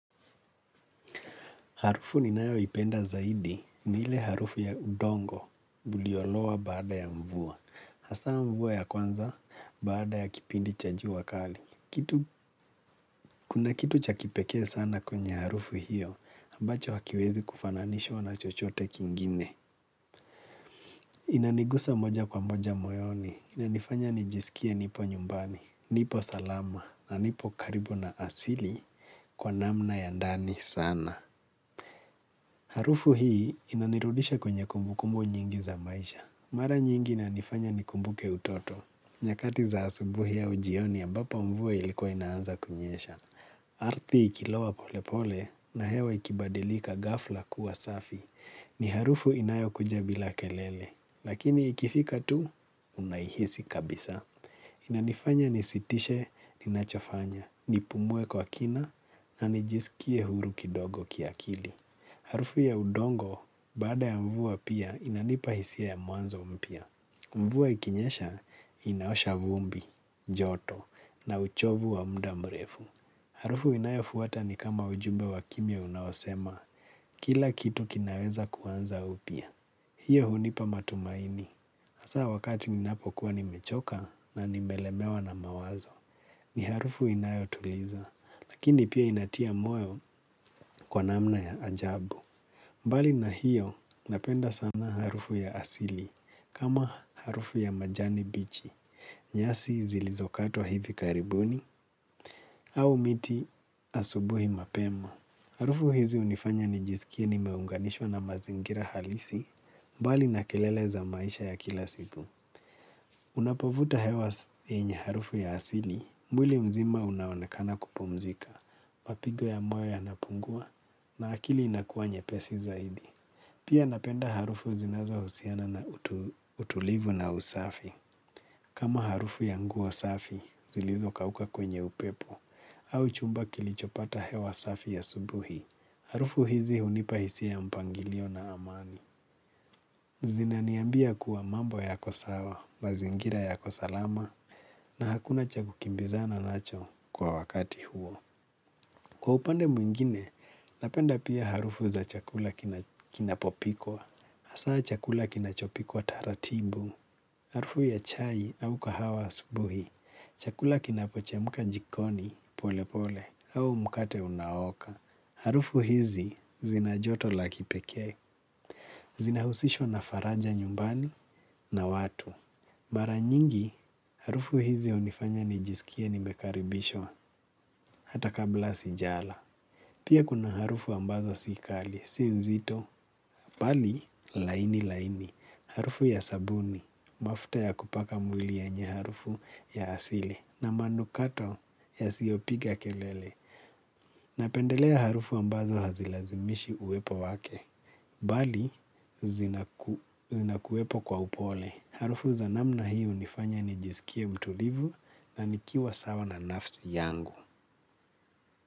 Harufu ninayoipenda zaidi ni ile harufu ya udongo uliolowa baada ya mvua. Hasaa mvua ya kwanza baada ya kipindi cha jua wakali. Kuna kitu cha kipekee sana kwenye harufu hiyo ambacho hakiwezi kufananishwa na chochote kingine. Inanigusa moja kwa moja moyoni. Inanifanya nijisikie nipo nyumbani, nipo salama na nipo karibu na asili kwa namna ya ndani sana. Harufu hii inanirudisha kwenye kumbukumu nyingi za maisha. Mara nyingi inanifanya nikumbuke utoto. Nyakati za asubuhi au jioni ambapo mvua ilikuwa inaanza kunyesha. Ardhi ikilowa pole pole na hewa ikibadilika ghafla kuwa safi. Ni harufu inayokuja bila kelele. Lakini ikifika tu unaihisi kabisa. Inanifanya nisitishe ninachofanya, nipumue kwa kina, na nijisikie huru kidogo kiakili. Harufu ya udongo, baada ya mvua pia, inanipa hisia ya mwanzo mpya. Mvua ikinyesha, inaosha vumbi, joto, na uchovu wa muda mrefu. Harufu inayofuata ni kama ujumbe wa kimya unaosema, kila kitu kinaweza kuanza upya. Hiyo hunipa matumaini. Hasaa wakati ninapokuwa nimechoka na nimelemewa na mawazo. Ni harufu inayotuliza. Lakini pia inatia moyo kwa namna ya ajabu. Mbali na hiyo napenda sana harufu ya asili kama harufu ya majani bichi. Nyasi zilizokatwa hivi karibuni au miti asubuhi mapema. Harufu hizi hunifanya nijisikie nimeunganishwa na mazingira halisi, mbali na kelele za maisha ya kila siku. Unapovuta hewa yenye harufu ya asili, mwili mzima unaonekana kupumzika, mapigo ya moyo yanapungua, na akili inakuwa nyepesi zaidi. Pia napenda harufu zinazohusiana na utulivu na usafi. Kama harufu ya nguo safi, zilizokauka kwenye upepo, au chumba kilichopata hewa safi ya asubuhi. Harufu hizi hunipa hisia mpangilio na amani. Zinaniambia kuwa mambo yako sawa, mazingira yako salama, na hakuna cha kukimbizana nacho kwa wakati huo. Kwa upande mwingine, napenda pia harufu za chakula kinapopikwa. Hasaa chakula kinachopikwa taratibu, harufu ya chai au kahawa asubuhi, chakula kinapochemuka jikoni pole pole au mkate unaoka. Harufu hizi zina joto la kipekee. Zinahusishwa na faraja nyumbani na watu. Mara nyingi, harufu hizi hunifanya nijisikie nimekaribishwa hata kabla sijala. Pia kuna harufu ambazo si kali, si nzito. Bali, laini laini. Harufu ya sabuni, mafuta ya kupaka mwili yenye harufu ya asili. Na manukato yasiopiga kelele. Napendelea harufu ambazo hazilazimishi uwepo wake. Bali zinakuwepo kwa upole. Harufu za namna hi hunifanya nijisikie mtulivu. Na nikiwa sawa na nafsi yangu.